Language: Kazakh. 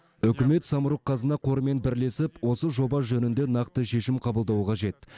үкімет самұрық қазына қорымен бірлесіп осы жоба жөнінде нақты шешім қабылдауы қажет